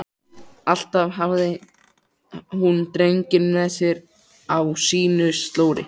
Alltaf hafði hún drenginn með sér á sínu slóri.